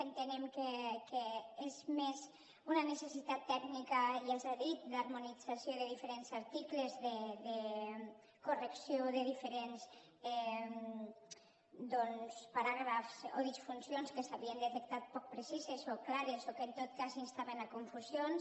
entenem que és més una necessitat tècnica ja s’ha dit d’harmonització de diferents articles de correcció de diferents doncs paràgrafs o disfuncions que s’havien detectat poc precises o clares o que en tot cas instaven a confusions